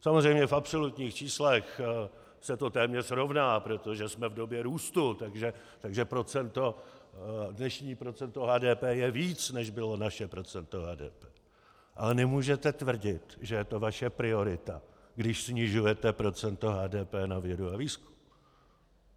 Samozřejmě v absolutních číslech se to téměř rovná, protože jsme v době růstu, takže dnešní procento HDP je víc, než bylo naše procento HDP, ale nemůžete tvrdit, že je to vaše priorita, když snižujete procento HDP na vědu a výzkum.